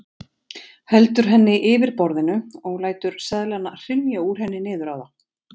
Heldur henni yfir borðinu og lætur seðlana hrynja úr henni niður á það.